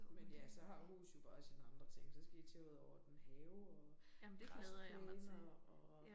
Men ja så har hus jo bare sine andre ting. Så skal I til at ud og ordne have og græsplæner og